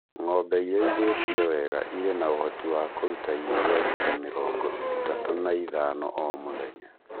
Ng'ombe ĩrĩithĩtio wega ĩrĩ na ũhoti wa kũruta iria rita mĩrongo ĩtatu na ithano o mũthenya.